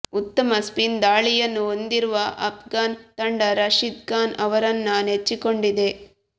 ಉತ್ತಮ ಸ್ಪಿನ್ ದಾಳಿಯನ್ನು ಹೊಂದಿರುವ ಅಫ್ಘಾನ್ ತಂಡ ರಶೀದ್ ಖಾನ್ ಅವರನ್ನ ನೆಚ್ಚಿಕೊಂಡಿದೆ